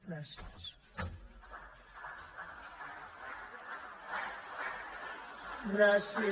gràcies